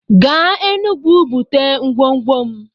Gaa Enugwu bute ngwongwo m!